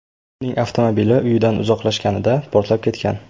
Uning avtomobili uyidan uzoqlashganida portlab ketgan.